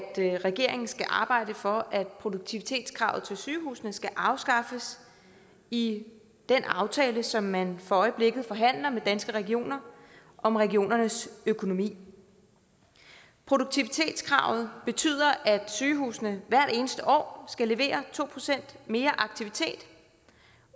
regeringen skal arbejde for at produktivitetskravet til sygehusene skal afskaffes i den aftale som man for øjeblikket forhandler med danske regioner om regionernes økonomi produktivitetskravet betyder at sygehusene hvert eneste år skal levere to procent mere aktivitet